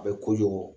A bɛ kojugu